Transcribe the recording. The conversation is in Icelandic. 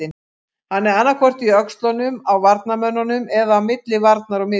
Hann er annaðhvort í öxlunum á varnarmönnunum eða á milli varnar og miðju.